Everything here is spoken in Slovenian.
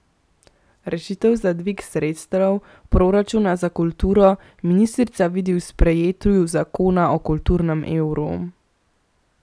Rešitev za dvig sredstev proračuna za kulturo ministrica vidi v sprejetju zakona o kulturnem evru.